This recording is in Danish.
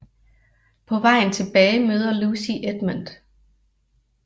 På vejen tilbage møder Lucy Edmund